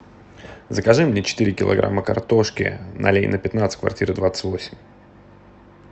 закажи мне четыре килограмма картошки на ленина пятнадцать квартира двадцать восемь